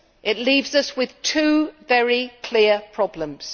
It leaves us with two very clear problems.